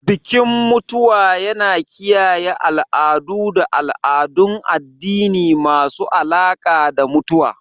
Bikin mutuwa yana kiyaye al'adu da al'adun addini masu alaƙa da mutuwa.